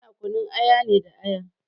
Ana kunun aya ne da aya.